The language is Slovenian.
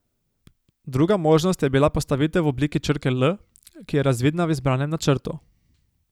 Druga možnost je bila postavitev v obliki črke L, ki je razvidna v izbranem načrtu.